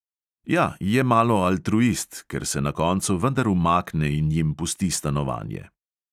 Ja, je malo altruist, ker se na koncu vendar umakne in jim pusti stanovanje.